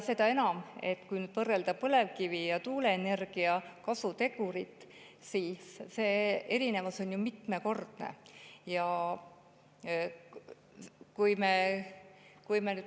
Seda enam, et kui võrrelda põlevkivi ja tuuleenergia kasutegurit, siis see erinevus on ju mitmekordne.